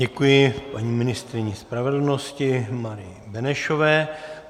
Děkuji paní ministryni spravedlnosti Marii Benešové.